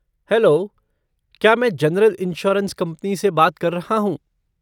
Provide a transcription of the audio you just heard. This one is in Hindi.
हेलो, क्या मैं जनरल इंश्योरेंस कंपनी से बात कर रहा हूँ?